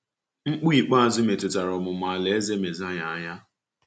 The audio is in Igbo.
Mkpu ikpeazụ metụtara ọmụmụ Alaeze Mesaya aya.